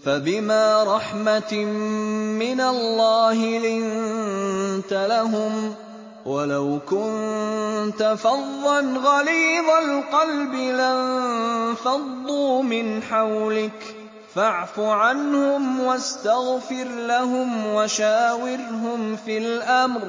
فَبِمَا رَحْمَةٍ مِّنَ اللَّهِ لِنتَ لَهُمْ ۖ وَلَوْ كُنتَ فَظًّا غَلِيظَ الْقَلْبِ لَانفَضُّوا مِنْ حَوْلِكَ ۖ فَاعْفُ عَنْهُمْ وَاسْتَغْفِرْ لَهُمْ وَشَاوِرْهُمْ فِي الْأَمْرِ ۖ